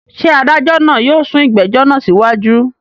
Ṣé adájọ́ yóò sún ìgbẹ́jọ́ náà síwájú?